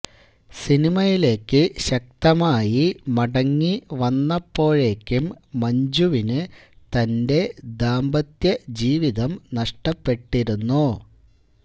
സിനിമയിലേക്ക് ശക്തമായി മടങ്ങി വന്നപ്പോഴേക്കും മഞ്ജിവിന് തൻറെ ദാമ്പത്യ ജീവിതം നഷ്ടപ്പെട്ടിരുന്നു